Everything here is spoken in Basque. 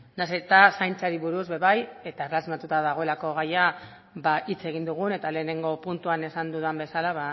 nahiz eta zaintzari buruz ere bai eta dagoelako gaia hitz egin dugun eta lehenago puntuan esan dudan bezala